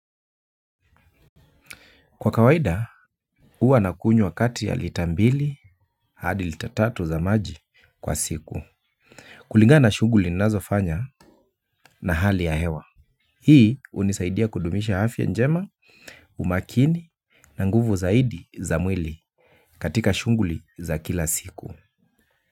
Kwa kawaida, huwa nakunywa kati ya lita mbili hadi lita tatu za maji kwa siku. Kulingana na shughuli ninazofanya na hali ya hewa. Hii hunisaidia kudumisha afya njema, umakini na nguvu zaidi za mwili katika shughuli za kila siku.